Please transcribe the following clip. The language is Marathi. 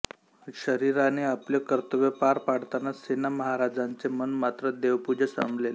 शरीराने आपले कर्तव्य पार पाडताना सेना महाराजांचे मन मात्र देवपूजेत रमलेले